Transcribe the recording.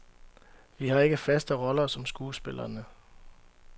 Vi har ikke faste roller som skuespillerne.